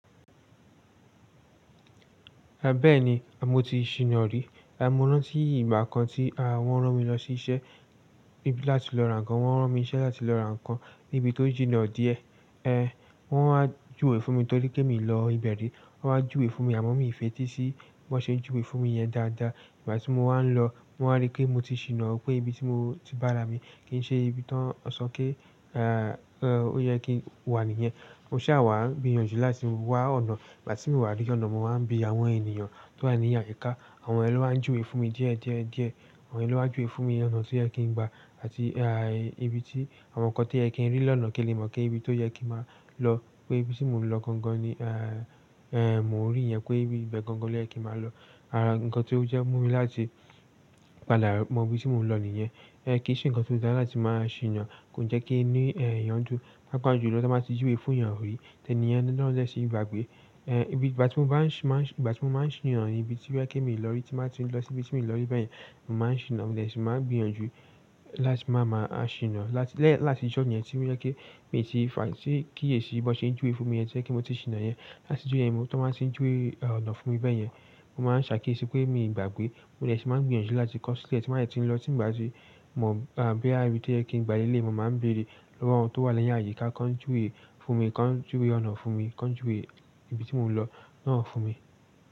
Ẹ bẹ́ẹ̀ni, mọ́ ti ṣì nàrí, àmọ́ rántí ìgbà kan tí a wọ́n rán mi lọ sí iṣẹ́ láti lọ ràn kan. Wọ́n rán mi iṣẹ́ láti lọ ràn kan níbi tó jìnnà díẹ̀ ẹ́ wọ́n wá júwe fún mi tó rí pé mí lọ ibẹ̀rí, wọ́n wá júwe fún mi àmọ́ mi ò fetí sí bó ṣe júwe fún mi yẹn dáadáa. Ìgbà tí mo wá ń lọ, mo wà rí pé mo ti ṣì nà ó pé ibi tí mo ti bá rà mi kì í ṣe ibi tán, ó sọ pé èèó yẹ kí n wà níyẹn. Mo ṣàwàá gbìyànjú láti wá ọ̀nà. Ìgbà tí mò wá rí ọ̀nà, mo wáa ń bi àwọn ènìyàn tó wà ní àyíká, àwọn yẹn lọ wà n júwe fún mi díẹ̀díẹ̀díẹ̀. Àwọn yẹn lọ wà n júwe fún mi ọ̀nà tó yẹ kí n gba àti àì ibi tí àwọn nǹkan tí ẹ kì í rí lọnà kì í lè mọ̀ kí ibi tó yẹ kí máa lọ. Pé ibi tí mò ń lọ gangan ni èè èmò rí yẹn pé ibẹ̀ gangan ni ẹ kí máa lọ. Àì nǹkan tí ó jẹ́ mú mi láti padà mọ ibi tí mò ń lọ nìyẹn. Ẹ kì í ṣe nǹkan tó dára láti máa ṣì nà, kò jẹ́ kí inú èè yọ̀ndú pàápàá jùlọ ti júwe fún èèyàn orí tẹ ni ẹ́ lọ́lẹ sí ìgbàgbé. Ẹ ibi ìgbà tí mò ń bá ṣì máa ìgbà tí mò máa ń ṣì nà ní ibi tí yẹ kí èmi lọ rí tí màá ti lọ sí ibi tí mi lọ rí bẹ́ẹ̀ yẹn, màá ṣì nà mo dẹ̀ tí màá gbìyànjú láti máa ma a ṣì nà láti lẹ́ láti ìjọ yẹn tí yẹ kí mi ti fà á sí kíyèsi bó ṣe júwe fún mi yẹn jẹ́ kí mo ti ṣì nà yẹn. Láti jo yẹn ni tọ máa ti ń júwe ọ̀nà fún mi bẹ́ẹ̀ yẹn. Mo máa ń ṣàkíyèsí pé mi ìgbàgbé, mo dẹ̀ tí màá gbìyànjú láti kọ́ sílẹ̀ tí màá tìrín lọ tí ìgbà tí mò ń bóyá ibí tó yẹ kí n gba lé lè mò máa ń bèrè lọ́wọ́ àwọn tó wà lẹ́yìn àyíká kó ń júwe fún mi, kó ń júwe ọ̀nà fún mi, kó ń júwe ibi tí mò ń lọ náà fún mi.